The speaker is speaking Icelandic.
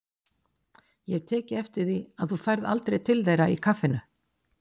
Ég hef tekið eftir því að þú ferð aldrei til þeirra í kaffinu.